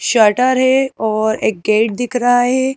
Shutter है और एक गेट दिख रहा है।